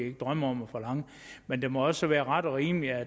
ikke drømme om at forlange men det må også være ret og rimeligt